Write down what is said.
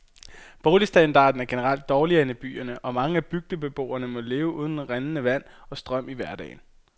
Boligstandarden er generelt dårligere end i byerne, og mange bygdebeboere må leve uden rindende vand og strøm i hverdagen.